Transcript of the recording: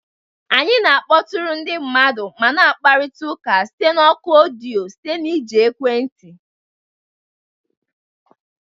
Anyị na-akpọtụrụ ndị mmadụ ma na-akparịta ụka site na oku odiyo site na iji ekwentị